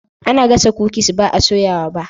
Ana gasa kukis ba a soya ba.